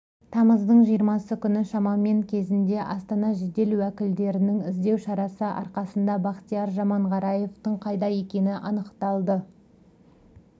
тамыздың жиырмасы күні шамамен кезінде астана жедел уәкілдерінің іздеу шарасы арқасында бақтияр жаманғараевтың қайда екені анықталды